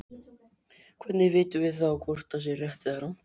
Hvernig vitum við þá hvort það sé rétt eða rangt?